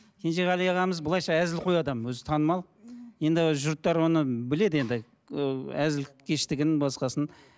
кенжеғали ағамыз былайынша әзілқой адам өзі танымал енді жұрттар оны біледі енді ыыы әзілкештігін басқасын